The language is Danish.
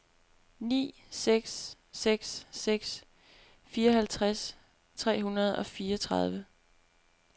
ni seks seks seks fireoghalvtreds tre hundrede og fireogtredive